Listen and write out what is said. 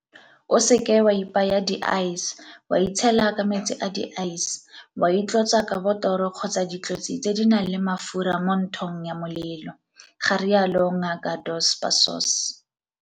O seke wa ipaya di-ice, wa itshela ka metsi a di-ice, wa itlotsa ka botoro kgotsa ditlotsi tse di nang le mafura mo nthong ya molelo, ga rialo Ngaka Dos Passos.